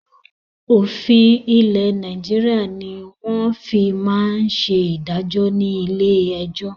Òfin ilẹ̀ Nàìjíríà ni wọn fi máa ń ṣe ìdájọ́ ni ilé ẹjọ́